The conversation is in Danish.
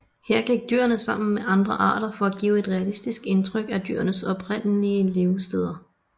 Her gik dyrene sammen med andre arter for at give et realistisk indtryk af dyrenes oprindelige leversteder